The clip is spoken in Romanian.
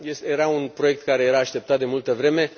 Era un proiect care era așteptat de multă vreme.